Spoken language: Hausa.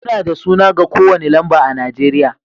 Muna da suna ga kowane lamba a Najeriya